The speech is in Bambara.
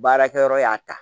Baarakɛyɔrɔ y'a ta